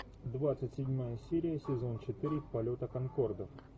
двадцать седьмая серия сезон четыре полета конкордов